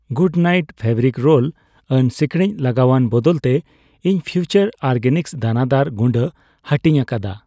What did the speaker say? Good night fabric roll on ᱥᱤᱠᱲᱤᱡ ᱞᱟᱜᱟᱣᱟᱱ ᱵᱚᱫᱚᱞ ᱛᱮ, ᱤᱧ ᱯᱷᱤᱣᱪᱟᱨ ᱚᱨᱜᱮᱱᱤᱠᱥ ᱫᱟᱱᱟᱫᱟᱨ ᱜᱩᱰᱟᱹ ᱦᱟᱹᱴᱤᱧ ᱟᱠᱟᱫᱟ ᱾